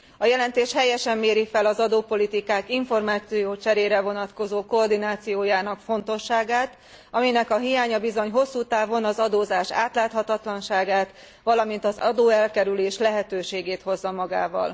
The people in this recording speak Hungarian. A jelentés helyesen méri fel az adópolitikák információcserére vonatkozó koordinációjának fontosságát, aminek a hiánya bizony hosszútávon az adózás átláthatatlanságát, valamint az adóelkerülés lehetőségét hozza magával.